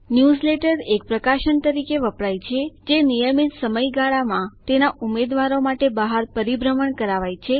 newsletter એક પ્રકાશન તરીકે વપરાય છે જે નિયમિત સમય ગાળામાં તેના ઉમેદવારો માટે બહાર પરિભ્રમણ કરાવાય છે